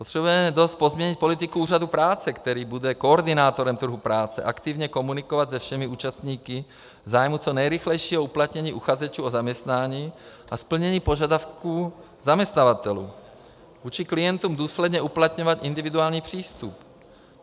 Potřebujeme dost pozměnit politiku úřadu práce, který bude koordinátorem trhu práce, aktivně komunikovat se všemi účastníky v zájmu co nejrychlejšího uplatnění uchazečů o zaměstnání a splnění požadavků zaměstnavatelů, vůči klientům důsledně uplatňovat individuální přístup.